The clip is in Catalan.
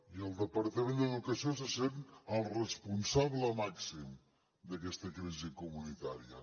i el departament d’educació se sent el responsable màxim d’aquesta crisi comunitària